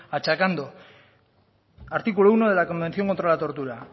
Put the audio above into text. achancando artículo uno de la convención contra la tortura